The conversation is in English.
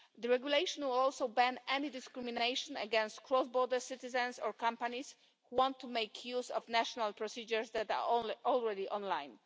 The regulation will also ban any discrimination against cross border citizens or companies who want to make use of national procedures that are already online.